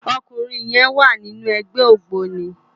Òkúnrin yèn wá ninú ègbè ógbóni